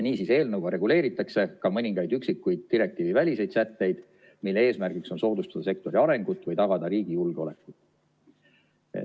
Niisiis, eelnõuga reguleeritakse ka mõningaid üksikuid direktiiviväliseid sätteid, mille eesmärgiks on soodustada sektori arengut või tagada riigi julgeolekut.